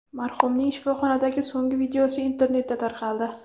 Marhumning shifoxonadagi so‘nggi videosi internetda tarqaldi.